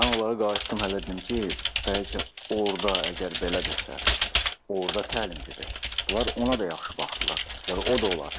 Mən onlara qayıtdım hələ dedim ki, bəlkə orda əgər belədirsə, orda təlim gedir, bunlar ona da yaxşı baxdılar, dedilər o da olar.